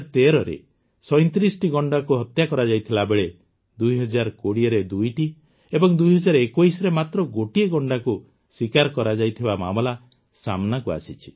୨୦୧୩ରେ ୩୭ଟି ଗଣ୍ଡାକୁ ହତ୍ୟା କରାଯାଇଥିବାବେଳେ ୨୦୨୦ରେ ୨ଟି ଓ ୨୦୨୧ରେ ମାତ୍ର ଗୋଟିଏ ଗଣ୍ଡାକୁ ଶିକାର କରାଯାଇଥିବା ମାମଲା ସାମ୍ନାକୁ ଆସିଛି